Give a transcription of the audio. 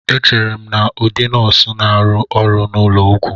Echere m na ndị nọọsụ na-arụ ọrụ n'ụlọ ọgwụ